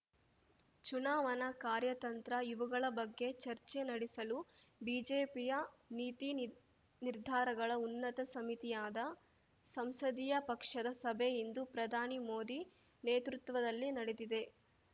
ಚುನಾವಣಾ ಕಾರ್ಯತಂತ್ರ ಇವುಗಳ ಬಗ್ಗೆ ಚರ್ಚೆ ನಡೆಸಲು ಬಿಜೆಪಿಯ ನೀತಿ ನಿರ್ ನಿರ್ಧಾರಗಳ ಉನ್ನತ ಸಮಿತಿಯಾದ ಸಂಸದೀಯ ಪಕ್ಷದ ಸಭೆ ಇಂದು ಪ್ರಧಾನಿ ಮೋದಿ ನೇತೃತ್ವದಲ್ಲಿ ನಡೆದಿದೆ